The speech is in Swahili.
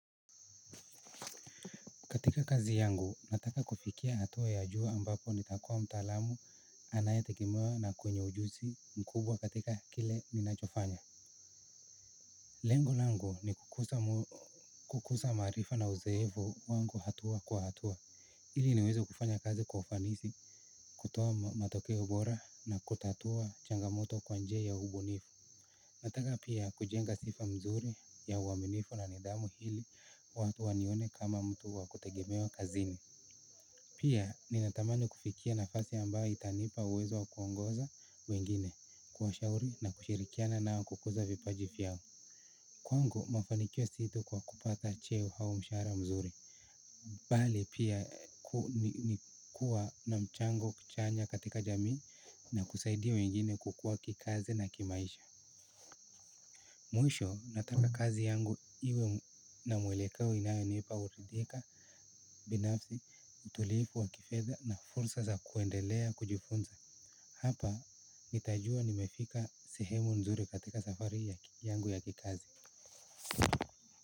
Katika kazi yangu, nataka kufikia hatua ya juu ambapo nitakuwa mtaalamu anayetegemewa na kwenye ujuzi mkubwa katika kile ninachofanya. Lengo langu ni kukuza maarifa na uzoefu wangu hatua kwa hatua. Ili niweze kufanya kazi kwa ufanisi, kutoa matokeo bora na kutatua changamoto kwa njia ya ubunifu. Nataka pia kujenga sifa mzuri ya uaminifu na nidhamu ili watu wanione kama mtu wa kutegemewa kazini. Pia ninatamani kufikia nafasi ambayo itanipa uwezo wa kuongoza wengine, kuwashauri na kushirikiana nao kukuza vipaji vyao. Kwangu, mafanikio si tu kwa kupata cheo au mshara mzuri. Bali pia ni kuwa na mchango chanya katika jamii na kusaidia wengine kukua kikazi na kimaisha. Mwisho nataka kazi yangu iwe na mwelekeo inayonipa uridhika. Binafsi, utulifu wa kifedha na fursa za kuendelea kujifunza. Hapa nitajua nimefika sehemu nzuri katika safari yangu ya kikazi.